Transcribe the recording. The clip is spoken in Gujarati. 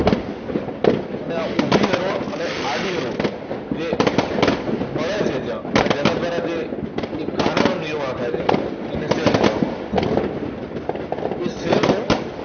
અને આ ઉભી row અને આડી row જે મળે છે જ્યાં અને જેના દ્વારા જે એક ખાનાનો નિર્માણ થાય છે, તેને cell કહેવામાં આવે છે. તે cell નું